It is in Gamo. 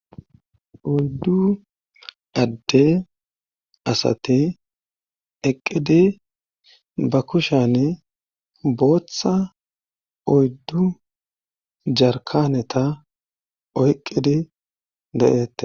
oyddu adde asati eqqidi ba kushane booththa oyddu jarkaneta oyqqidi de7ette